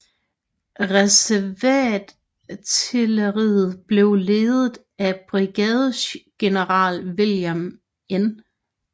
Reserveartilleriet blev ledet af brigadegeneral William N